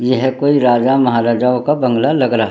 यह कोई राजा महाराजाओं का बंगला लग रहा ह।